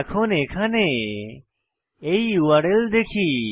এখন এখানে এই ইউআরএল এ দেখি